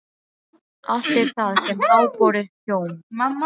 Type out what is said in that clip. Allt er það sem háborið hjóm.